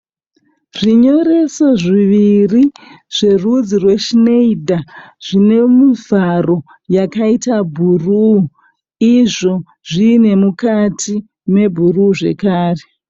Zvinyoreso zviviri zverudzi rweShneider. Zvine muvharo yakaita bhuruu. Izvo zviine mukati mebhuruu zvekare.